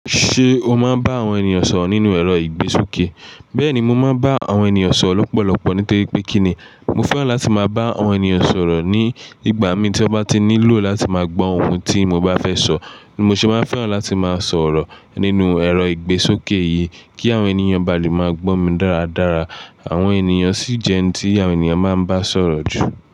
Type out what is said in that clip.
Ṣé o máa ń bá àwọn ènìyàn sọ̀rọ̀ nínú ẹ̀rọ ìgbésókè? Bẹ́ẹ̀ni, mo máa ń bá àwọn ènìyàn sọ̀rọ̀ lọ́pọ̀lọpọ̀ nítorí pé kíni, mo fẹ́ràn láti máa bá àwọn ènìyàn sọ̀rọ̀ ní ìgbàmi tí mo bá ti nílò láti máa gbọ́ ohun tí mo bá fẹ́ sọ̀, mo sì máa ń fẹ́ràn láti máa sọ̀rọ̀ nínú ẹ̀rọ ìgbésókè yìí kí àwọn ènìyàn ba lè máa gbọ́ mi dáradára. Àwọn ènìyàn sì jẹ́ ẹni tí àwọn èyàn máa ń bá sọ̀rọ̀ jù.